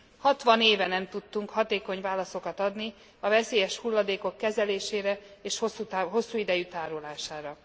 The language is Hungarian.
Hatvan éve nem tudtunk hatékony válaszokat adni a veszélyes hulladékok kezelésére és hosszú idejű tárolására.